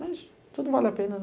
Mas, tudo vale a pena,